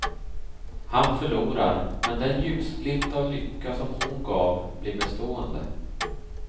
Han förlorar, men den ljusglimt av lycka som hon gav blir bestående.